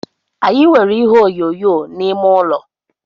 Anyị nwere ihe onyonyo n’ime ụlọ